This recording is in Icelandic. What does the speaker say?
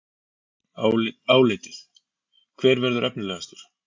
Álitið: Hver verður efnilegastur?